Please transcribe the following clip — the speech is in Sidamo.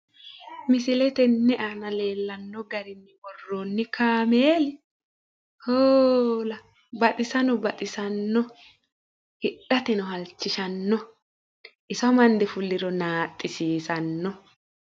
misile tenne aana leellanno garinni worroonni kaameeli hoola baxisano baxisanno, hidhateno halchishanno, iso amande fulliro naaxxisiisanno.